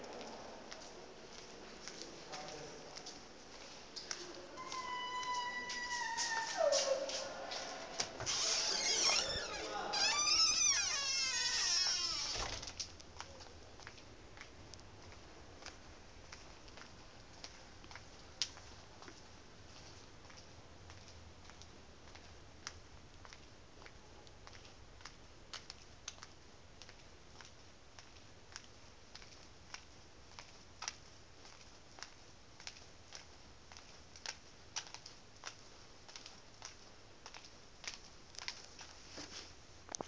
kha iḽi fhungo hu nga